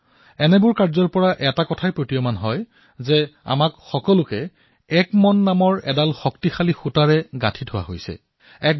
এই সকলোবোৰ কথাৰ পৰা এটা কথাই সন্মুখলৈ আহে আমি সকলোৱে এটা মন এডাল মজবুত সূতাৰে নিজকে বান্ধি লৈছো